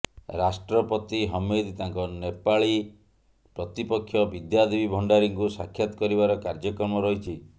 ରାଷ୍ଟ୍ରପତି ହମିଦ ତାଙ୍କ ନେପାଳୀ ପ୍ରତିପକ୍ଷ ବିଦ୍ୟାଦେବୀ ଭଣ୍ଡାରୀଙ୍କୁ ସାକ୍ଷାତ କରିବାର କାର୍ଯ୍ୟକ୍ରମ ରହିଛି